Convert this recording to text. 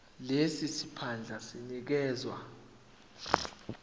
lesi siphandla sinikezwa